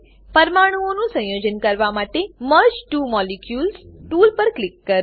પરમાણુઓનું સંયોજન કરવા માટે merge two molecules merge two molecules tool પર ક્લિક કરો